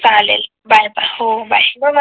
चालेल bye bye हो bye